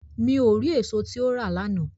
Mi o ri eso ti o ra lana